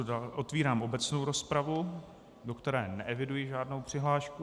Otevírám obecnou rozpravu, do které neeviduji žádnou přihlášku.